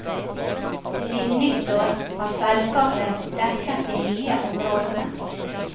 Siden nyttår har selskapet dekket de nye områdene.